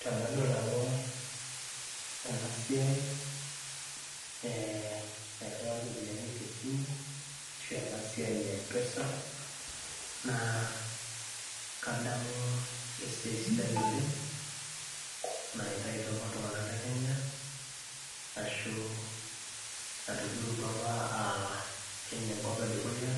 Tenadol nanu ena siai eh nairriwari iropiyiani tesimu ashu ena siai e mpesa naa kadamu esiai sidai oleng naitaituo apa iltung'anak le kenya ashu natujurrutuo apa uh kenya enkop edukuya